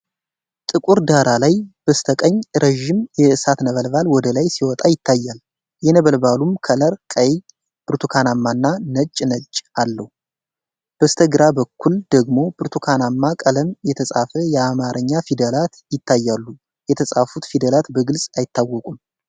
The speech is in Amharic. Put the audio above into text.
ጥቁር ዳራ ላይ፣ በስተቀኝ ረዥም የእሳት ነበልባል ወደ ላይ ሲወጣ ይታያል፤ የነበልባሉም ከለር ቀይ፣ ብርቱካናማና ነጭ ጭስ አለው። በስተግራ በኩል ደግሞ በብርቱካናማ ቀለም የተፃፉ የአማርኛ ፊደላት ይታያሉ፤ የተፃፉት ፊደላት በግልፅ አይታወቁም።